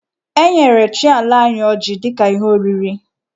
E nyere chi ala anyị ọjị dị ka ihe oriri.